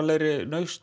lausn